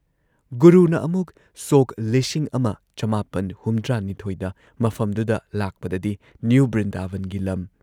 ꯒꯨꯨꯔꯨꯅ ꯑꯃꯨꯛ ꯁꯣꯛ ꯱꯹꯷꯲ ꯗ ꯃꯐꯝꯗꯨꯗ ꯂꯥꯛꯄꯗꯗꯤ ꯅ꯭ꯌꯨ ꯕ꯭ꯔꯤꯟꯗꯥꯕꯟꯒꯤ ꯂꯝ